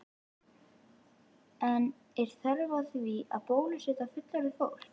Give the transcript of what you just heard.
En er þörf á því að bólusetja fullorðið fólk?